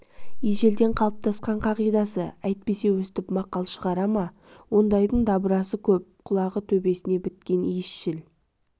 ежелден қалыптасқан қағидасы әйтпесе өстіп мақал шығара ма ондайдың дабырасы көп құлағы төбесіне біткен иісшіл